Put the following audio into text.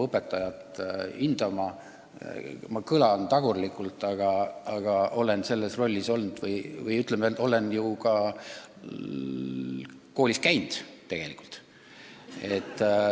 See kõlab tagurlikult, aga ma olen selles rollis olnud – ma olen ka tegelikult koolis käinud.